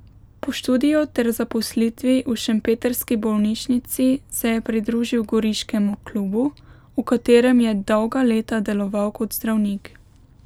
Po študiju ter zaposlitvi v šempetrski bolnišnici se je pridružil goriškemu klubu, v katerem je dolga leta deloval kot zdravnik.